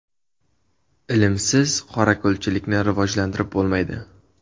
Ilmsiz qorako‘lchilikni rivojlantirib bo‘lmaydi.